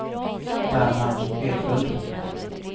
Bernhard Edlund